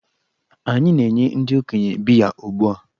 Anyị na-enye ndị okenye biya ugbu a.